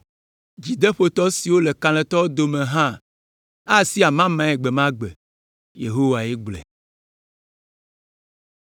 Dzideƒotɔ siwo le kalẽtɔwo dome hã asi amamae gbe ma gbe.” Yehowae gblɔe.